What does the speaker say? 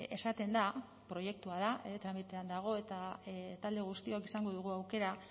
esaten da proiektua da e tramitean dago eta talde guztiok izango dugu aukera